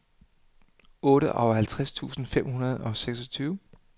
otteoghalvtreds tusind fem hundrede og seksogtyve